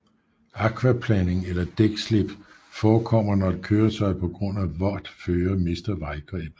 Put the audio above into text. Akvaplaning eller dækslip forekommer når et køretøj på grund af vådt føre mister vejgrebet